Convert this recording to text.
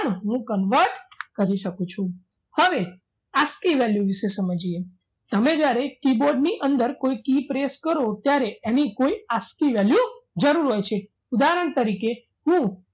હું convert કરી શકું છું હવે ask ની value વિશે સમજીએ તમે જ્યારે keyboard ની અંદર કોઈ key press કરો ત્યારે એની કોઈ ask ની value જરૂર હોય છે ઉદાહરણ તરીકે હું